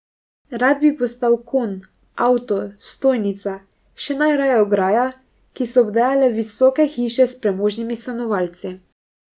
Rad bi postal konj, avto, stojnica, še najraje ograja, ki so obdajale visoke hiše s premožnimi stanovalci.